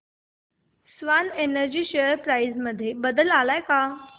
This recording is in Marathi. स्वान एनर्जी शेअर प्राइस मध्ये बदल आलाय का